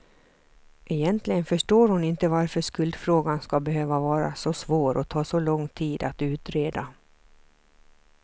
Egentligen förstår hon inte varför skuldfrågan ska behöva vara så svår och ta så lång tid att utreda.